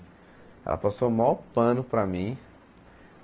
Ela passou o maior pano para mim.